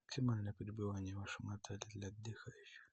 максимальное пребывание в вашем отеле для отдыхающих